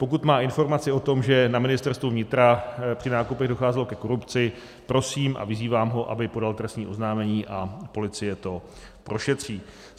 Pokud má informaci o tom, že na Ministerstvu vnitra při nákupech docházelo ke korupci, prosím a vyzývám ho, aby podal trestní oznámení, a policie to prošetří.